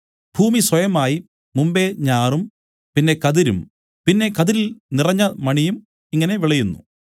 ഭൂമി സ്വയമായി മുമ്പെ ഞാറും പിന്നെ കതിരും പിന്നെ കതിരിൽ നിറഞ്ഞ മണിയും ഇങ്ങനെ വിളയുന്നു